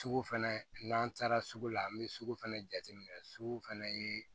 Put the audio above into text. Sugu fɛnɛ n'an taara sugu la an bɛ sugu fɛnɛ jate minɛ sugu fɛnɛ ye